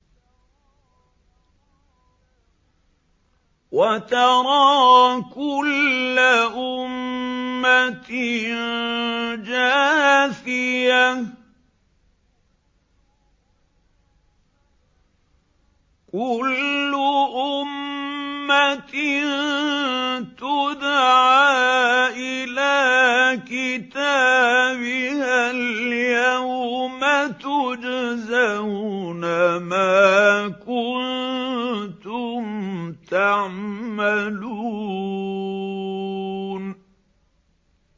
وَتَرَىٰ كُلَّ أُمَّةٍ جَاثِيَةً ۚ كُلُّ أُمَّةٍ تُدْعَىٰ إِلَىٰ كِتَابِهَا الْيَوْمَ تُجْزَوْنَ مَا كُنتُمْ تَعْمَلُونَ